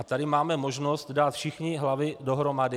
A tady máme možnost dát všichni hlavy dohromady.